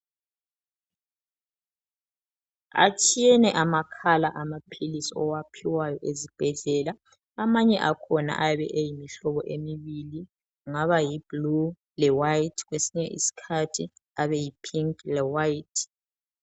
Atshiyene ama colour amaphilisi owaphiwayo ezibhedlela amanye akhona ayabe eyimihlobo emibili kungaba yi blue le white kwesinye isikhathi abe yi pink le white.